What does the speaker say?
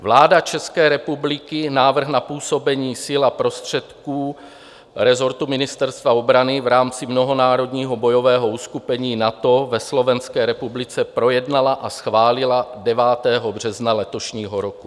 Vláda České republiky návrh na působení sil a prostředků rezortu Ministerstva obrany v rámci mnohonárodního bojového uskupení NATO ve Slovenské republice projednala a schválila 9. března letošního roku.